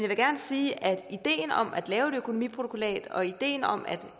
vil gerne sige at ideen om at lave et økonomiprotokollat og ideen om at